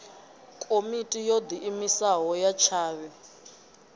komiti yo diimisaho ya tshavhi